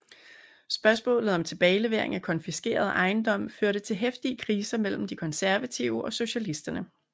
Spørgsmålet om tilbagelevering af konfiskeret ejendom førte til heftige kriser mellem de konservative og socialisterne